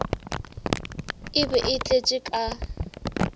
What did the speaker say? e be e tletše ka